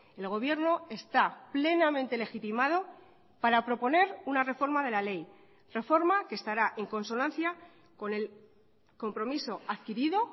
el gobierno está plenamente legitimado para proponer una reforma de la ley reforma que estará en consonancia con el compromiso adquirido